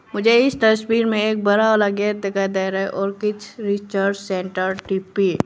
मुझे इस तस्वीर में एक बड़ा वाला गेट दिखाई दे रहा है और कुछ रिसर्च सेंटर टी_पी ।